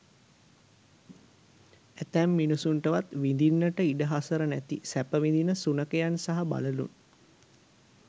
ඇතැම් මිනිසුන්ටවත් විඳින්නට ඉඩ හසර නැති සැප විඳින සුනඛයන් සහ බළලූන්